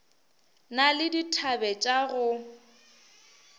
na le dithabe tša go